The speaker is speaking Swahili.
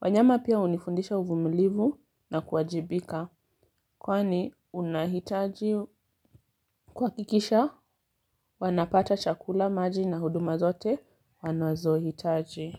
Wanyama pia unifundisha uvumulivu na kuajibika kwani unahitaji kwa kikisha wanapata chakula maji na huduma zote wanazohitaji.